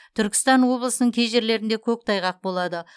түркістан облысының кей жерлерде көктайғақ болады